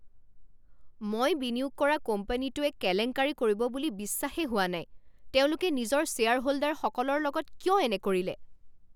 মই বিনিয়োগ কৰা কোম্পানীটোৱে কেলেংকাৰী কৰিব বুলি বিশ্বাসেই হোৱা নাই। তেওঁলোকে নিজৰ শ্বেয়াৰহোল্ডাৰসকলৰ লগত কিয় এনে কৰিলে?